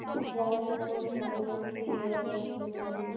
বঙ্গপোসাগরের তীরে অবস্থিত